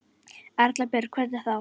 Erla Björg: Hvernig þá?